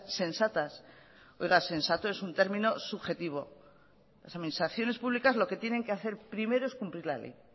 sensatas oiga sensato es un término subjetivo las administraciones públicas lo que tienen que hacer primero es cumplir la ley